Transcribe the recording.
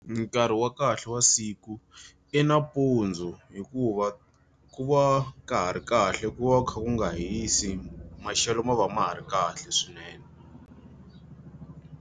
Nkarhi wa kahle wa siku i nampundzu hikuva ku va ka ha ri kahle ku va kha ku nga hisi, maxelo ma va ma ha ri kahle swinene.